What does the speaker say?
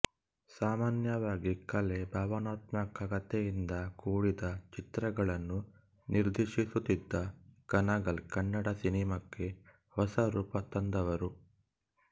ಸಾಮಾನ್ಯವಾಗಿ ಕಲೆ ಭಾವನಾತ್ಮಕತೆಯಿಂದ ಕೂಡಿದ ಚಿತ್ರಗಳನ್ನು ನಿರ್ದೇಶಿಸುತ್ತಿದ್ದ ಕಣಗಾಲ್ ಕನ್ನಡ ಸಿನಿಮಾಕ್ಕೆ ಹೊಸ ರೂಪ ತಂದವರು